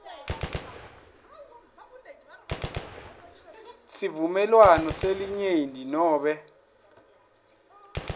sivumelwano selinyenti nobe